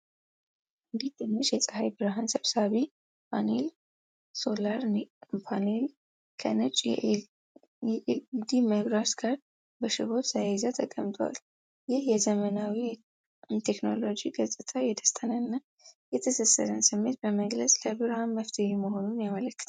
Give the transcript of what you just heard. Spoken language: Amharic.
አንዲት ትንሽ የፀሐይ ብርሃን ሰብሳቢ ፓኔል (ሶላር ፓኔል) ከነጭ የኤልኢዲ መብራት ጋር በሽቦ ተያይዛ ተቀምጡአል። ይህ የዘመናዊ ቴክኖሎጂ ገጽታ የደስታንና የትስስርን ስሜት በመግለጽ ለብርሃን መፍትሄ መሆኑን ያመለክታል።